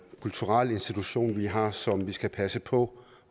kulturel institution vi har som vi skal passe på